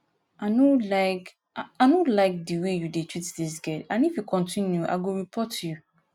i no like i no like the way you dey treat dis girl and if you continue i go report you